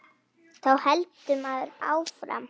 Þá heldur maður áfram.